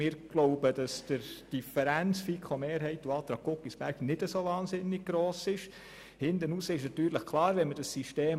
Wir glauben, dass die Differenz zwischen den Planungserklärungen FiKoMehrheit und Guggisberg nicht sehr gross ist.